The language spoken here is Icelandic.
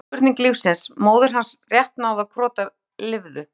var síðasta spurning lífsins, móðir hans rétt náði að krota, lifðu!